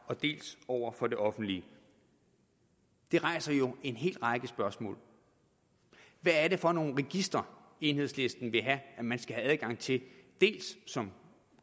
dels over for det offentlige det rejser jo en hel række spørgsmål hvad er det for nogle registre enhedslisten vil have man skal have adgang til dels som